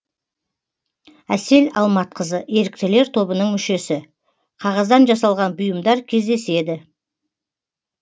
әсел алматқызы еріктілер тобының мүшесі қағаздан жасалған бұйымдар кездеседі